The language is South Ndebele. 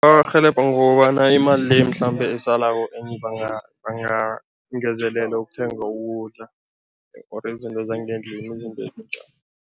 Arhelebha ngokobana imali leyo mhlambe esalako enye bangangezelela ukuthenga ukudla or izinto zangendlini, izinto ezinjalo.